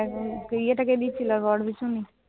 বিয়েটা কে দিয়েছিল? বড় পিসিমণি?